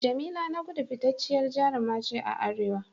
Jamila Nagudu fitacciyar jaruma ce a Arewa.